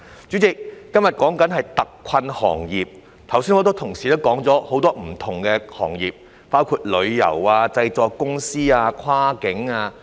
主席，今天討論的是特困行業，很多同事剛才也提及了很多不同行業，包括旅遊行業、製作公司、跨境運輸行業。